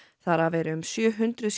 þar af eru um sjö hundruð